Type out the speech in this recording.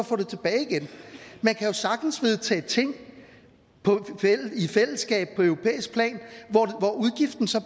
at man kan sagtens vedtage ting i fællesskab på europæisk plan hvor udgiften så